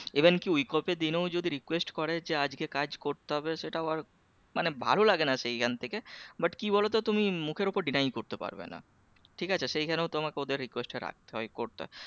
Even কি week off এর দিনেও যদি request করে যে আজকে কাজ করতে হবে সেটাও আর মানে ভালো লাগেনা সেইখান থেকে but কি বলতো তুমি মুখের উপর deny করতে পারবে না ঠিক আছে সেই খানেও তোমাকে ওদের request টা রাখতে হয় করতে হয়